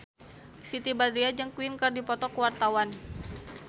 Siti Badriah jeung Queen keur dipoto ku wartawan